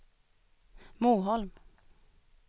Moholm